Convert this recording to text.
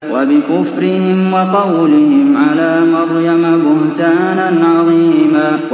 وَبِكُفْرِهِمْ وَقَوْلِهِمْ عَلَىٰ مَرْيَمَ بُهْتَانًا عَظِيمًا